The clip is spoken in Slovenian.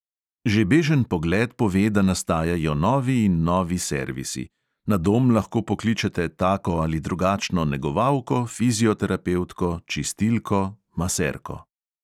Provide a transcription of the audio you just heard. Že bežen pogled pove, da nastajajo novi in novi servisi, na dom lahko pokličete tako ali drugačno negovalko, fizioterapevtko, čistilko, maserko ...